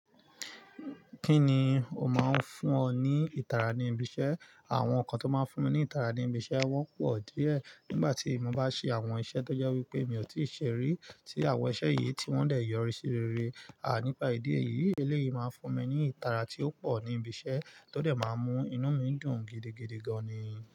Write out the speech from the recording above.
Kí ni ó máa ń fún ọ ní ìtara ní ibi iṣẹ́? Àwọn nǹkan tó máa ń fún mi ní ìtara ní ibi iṣẹ́ wọ́n pọ̀ díẹ̀. Nígbà tí mo bá ṣe àwọn iṣẹ́ tó jẹ́ wípé mi ò tíì ṣe rí tí àwọn iṣẹ́ yìí tí wọ́n lè yọrí sí rere nípa ìdí èyí, eléyìí máa ń fún mi ní ìtara tí ó pọ̀ ní ibi iṣẹ́ tó dè máa n mú inú mi dùn gidigidi gan-an ni.